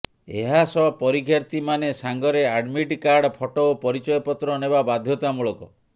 ଏହାସହ ପରୀକ୍ଷାର୍ଥୀମାନେ ସାଙ୍ଗରେ ଆଡ୍ମିଟ୍ କାର୍ଡ ଫଟୋ ଓ ପରିଚୟ ପତ୍ର ନେବା ବାଧ୍ୟତାମୂଳକ